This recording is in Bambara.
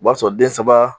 O b'a sɔrɔ den saba